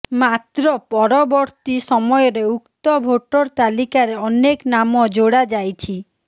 ମାତ୍ର ପରବର୍ତ୍ତି ସମୟରେ ଉକ୍ତ ଭୋଟର ତାଲିକାରେ ଅନେକ ନାମ ଯୋଡା ଯାଇଛି